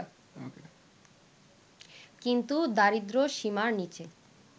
কিন্তু দরিদ্রসীমার নিচে